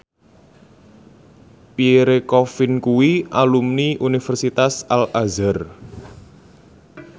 Pierre Coffin kuwi alumni Universitas Al Azhar